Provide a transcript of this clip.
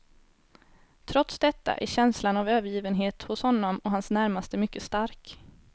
Trots detta är känslan av övergivenhet hos honom och hans närmaste mycket stark.